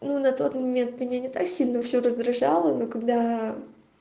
ну на тот момент меня не так сильно всё раздражало но когда